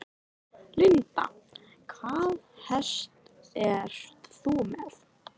Linda: Hvaða hest ert þú með?